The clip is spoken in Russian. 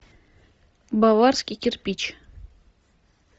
баварский кирпич